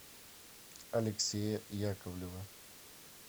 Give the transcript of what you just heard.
алексея яковлева